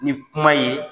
Ni kuma ye